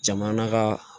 Jamana ka